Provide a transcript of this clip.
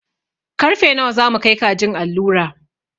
Karfe nawa za mu kai kajin allura?